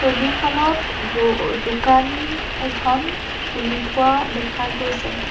ছবিখনত ব অ দোকান এখন খুলি থোৱা দেখা গৈছে।